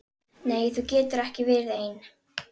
Nei þú getur ekki verið ein.